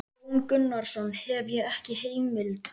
Jón Gunnarsson: Hef ég ekki heimild?